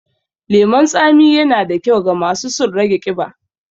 lemon tsami yana da kyau ga masu sun rage ƙiba.